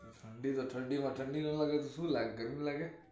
ઠંડી તો ઠંડીમાં ઠંડી ન લાગે તો શુ ગરમી લાગે?